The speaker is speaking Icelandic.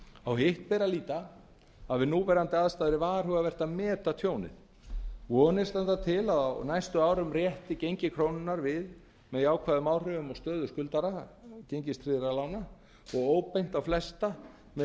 á hitt ber að líta að við núverandi aðstæður er varhugavert að meta tjónið vonir standa til að á næstu árum rétti gengi krónunnar við með jákvæðum áhrifum á stöðu skuldara gengistryggðra lána og óbeint á flesta með